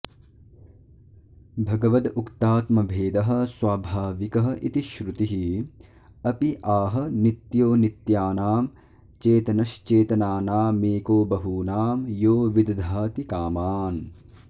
भगवदुक्तात्मभेदः स्वाभाविकः इति श्रुतिः अपि आह नित्यो नित्यानां चेतनश्चेतनानामेको बहूनां यो विदधाति कामान्